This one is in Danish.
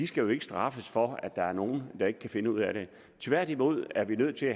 skal straffes for at der er nogle der ikke kan finde ud af det tværtimod er vi nødt til